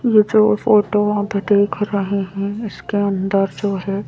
ये जो फोटो आप देख रहे हैं इसके अंदर जो है।